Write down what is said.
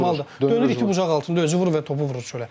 Dönür iti bucaq altında özü vurur və topu vurur çölə.